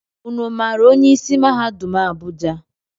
Ụnụ maara onye isi mahadum Abuja?